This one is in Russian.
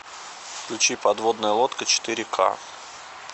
включи подводная лодка четыре ка